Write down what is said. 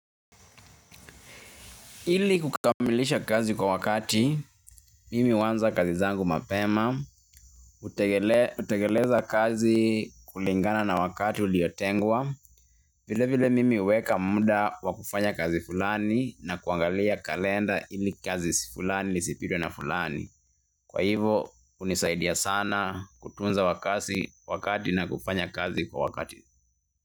Ili kukamilisha kazi kwa wakati, mimi huanza kazi zangu mapema, hutekeleza kazi kulingana na wakati uliotengwa, vile vile mimi huweka muda wa kufanya kazi fulani na kuangalia kalenda ili kazi fulani, isipitwe na fulani. Kwa hivo, hunisaidia sana kutunza wakati wakati na kufanya kazi kwa wakati.